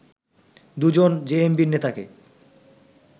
দুজন জেএমবির নেতাকে